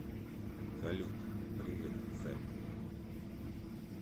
салют привет сэм